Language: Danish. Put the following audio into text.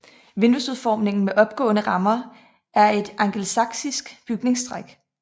Vinduesudformningen med opgående rammer er et angelsaksisk bygningstræk